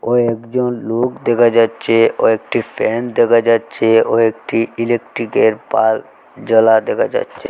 কয়েকজন লোক দেকা যাচ্চে ওয়েকটি ফ্যান দেকা যাচ্চে ওয়েকটি ইলেক্ট্রিকের বাল্ব জ্বালা দেখা যাচ্চে।